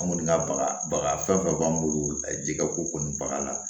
An kɔni ka baga baga fɛn fɛn b'an bolo ji ka ko kɔni bagan la